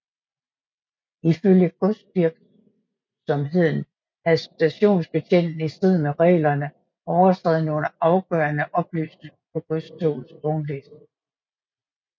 Ifølge godsvirksomheden havde stationsbetjenten i strid med reglerne overstreget nogle afgørende oplysninger på godstogets vognliste